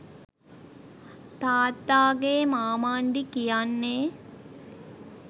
තාත්තාගේ මාමණ්ඩි කියන්නේ